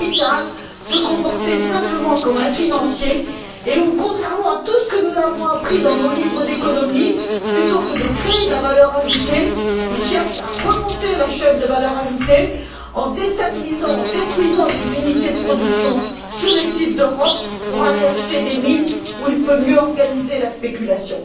Mittal se comporter simplement comme un financier et, contrairement à tout ce que nous avons appris dans nos livres d'économie, plutôt que de créer de la valeur ajoutée, il cherche à remonter la chaîne de la valeur ajoutée en déstabilisant et en détruisant des unités de production sur les sites d'Europe pour aller acheter des mines, où il peut mieux organiser la spéculation.